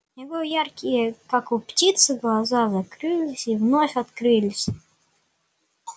его яркие как у птицы глаза закрылись и вновь открылись